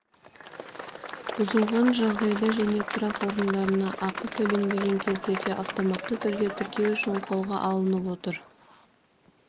бұзылған жағдайда және тұрақ орындарына ақы төленбеген кездерде автоматты түрде тіркеу үшін қолға алынып отыр